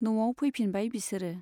न'आव फैफिनबाय बिसोरो।